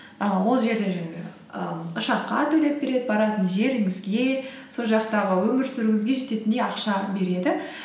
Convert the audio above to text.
і ол жерде жаңағы і ұшаққа төлеп береді баратын жеріңізге сол жақтағы өмір сүруіңізге жететіндей ақша береді